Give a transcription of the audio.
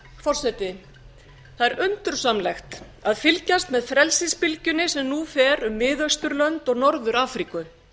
forseti það er undursamlegt að fylgjast með frelsisbylgjunni sem nú fer um mið austurlönd og norður afríku